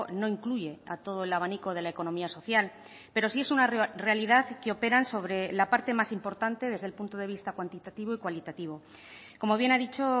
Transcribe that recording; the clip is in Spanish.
no incluye a todo el abanico de la economía social pero sí es una realidad que operan sobre la parte más importante desde el punto de vista cuantitativo y cualitativo como bien ha dicho